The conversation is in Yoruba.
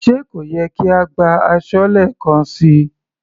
Sé kò yẹ kí a gbá aṣọ́lé kan síi.